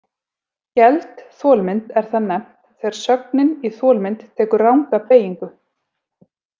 Geld þolmynd er það nefnt þegar sögnin í þolmynd tekur ranga beygingu.